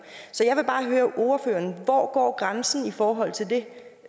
så jeg vil bare høre ordføreren hvor går grænsen i forhold til det